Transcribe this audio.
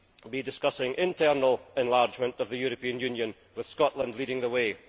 be discussing internal enlargement of the European Union, with Scotland leading the way.